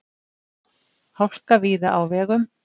Hálka víða á vegum